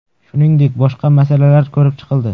Shuningdek, boshqa masalalar ko‘rib chiqildi.